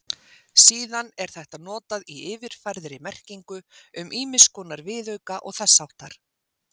Síðan er þetta notað í yfirfærðri merkingu um ýmiss konar viðauka og þess háttar.